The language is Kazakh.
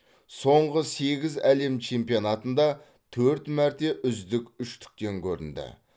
соңғы сегіз әлем чемпионатында төрт мәрте үздік үштіктен көрінді